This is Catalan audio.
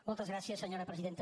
moltes gràcies senyora presidenta